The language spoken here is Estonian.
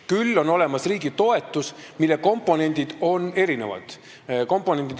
Küll on olemas riigi toetus, mille komponendid on erinevad.